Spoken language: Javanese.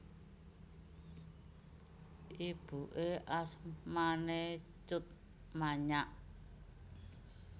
Ibuké asmané Tjut Manyak